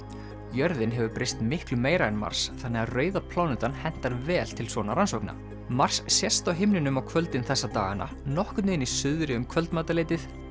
jörðin hefur breyst miklu meira en Mars þannig að rauða plánetan hentar vel til svona rannsókna mars sést á himninum á kvöldin þessa dagana nokkurn veginn í suðri um kvöldmatarleytið